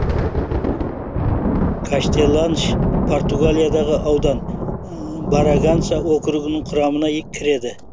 каштеланш португалиядағы аудан браганса округінің құрамына кіреді